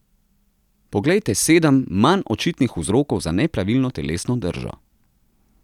Poglejte sedem, manj očitnih vzrokov za nepravilno telesno držo.